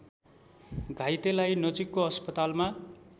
घाइतेलाई नजिकको अस्पतालमा